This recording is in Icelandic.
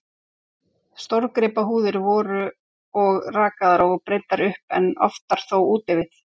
Stórgripahúðir voru og rakaðar og breiddar upp, en oftar þó úti við.